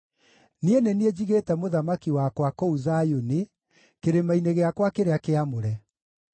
“Niĩ nĩ niĩ njigĩte Mũthamaki wakwa kũu Zayuni, kĩrĩma-inĩ gĩakwa kĩrĩa kĩamũre.”